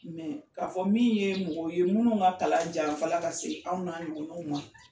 Mɛ k'a fɔ min ye mɔgɔ ye minnu ka kalan janfa la ka se anw na ɲɔgɔnanw ma